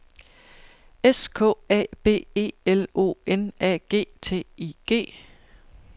S K A B E L O N A G T I G